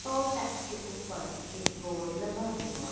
toll tax के ऊपर एक बोर्ड लगा हुआ--